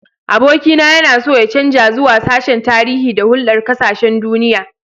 Abokina yana so ya canza zuwa sashen Tarihi da Hulɗar Ƙasashen Duniya.